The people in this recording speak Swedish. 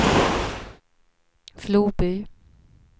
Floby